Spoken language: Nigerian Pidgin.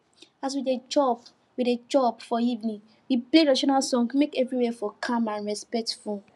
as we dey chop we dey chop for evening we play traditional music make everywhere for calm and respectful